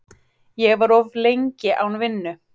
Ég var of lengi án vinnu.